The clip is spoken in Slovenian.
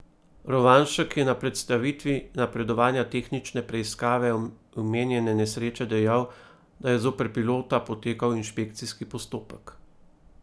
Rovanšek je na predstavitvi napredovanja tehnične preiskave omenjene nesreče dejal, da je zoper pilota potekal inšpekcijski postopek.